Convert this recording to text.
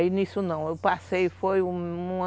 Aí nisso não, eu passei, foi uma...